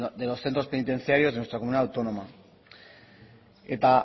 de los centros penitenciarios de nuestra comunidad autónoma eta